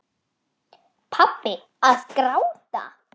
Pabbi að gráta!